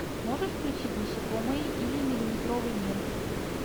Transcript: можешь включить насекомые или миллиметровый мир